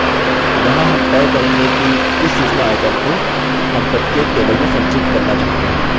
यहाँ हम तय करेंगे कि किस सूचना item को हम प्रत्येक table में संचित करना चाहते हैं